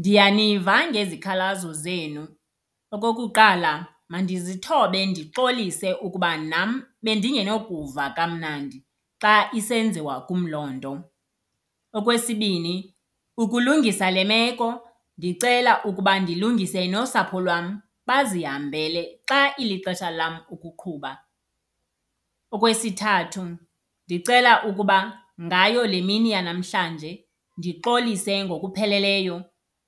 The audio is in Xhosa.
Ndiyaniva ngezikhalazo zenu. Okokuqala, mandizithobe ndixolise ukuba nam bendingenokuva kamnandi xa isenziwa kum loo nto. Okwesibini, ukulungisa le meko ndicela ukuba ndilungise nosapho lwam bazihambele xa ilixesha lam ukuqhuba. Okwesithathu, ndicela ukuba ngayo le mini yanamhlanje ndixolise ngokupheleleyo,